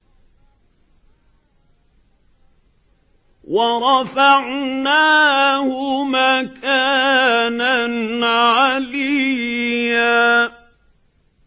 وَرَفَعْنَاهُ مَكَانًا عَلِيًّا